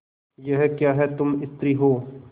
यह क्या तुम स्त्री हो